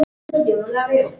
Hún reynir að skilja allt.